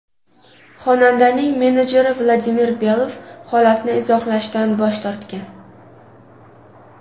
Xonandaning menedjeri Vladimir Belov holatni izohlashdan bosh tortgan.